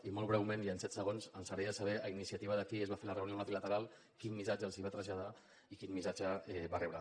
i molt breument i en set segons ens agradaria saber a iniciativa de qui es va fer la reunió amb la trilateral quin missatge els va traslladar i quin missatge va rebre